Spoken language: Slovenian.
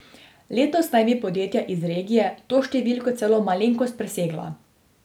Letos naj bi podjetja iz regije to številko celo malenkost presegla.